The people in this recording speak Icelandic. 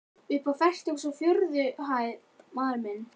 Uppi á fertugustu og fjórðu hæð, maður minn.